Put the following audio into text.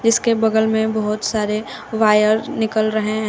इसके बगल में बहुत सारे वायर निकल रहे हैं।